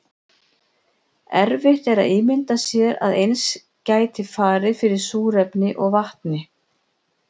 erfitt er að ímynda sér að eins gæti farið fyrir súrefni og vatni